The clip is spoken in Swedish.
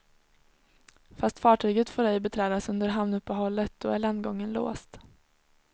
Fast fartyget får ej beträdas under hamnuppehållet, då är landgången låst.